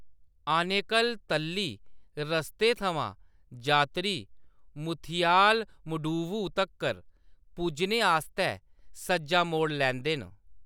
आनेकल-तल्ली रस्ते थमां, जात्तरी मुथियालमडुवु तक्कर पुज्जने आस्तै सज्जा मोड़ लैंदे न।